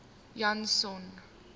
janson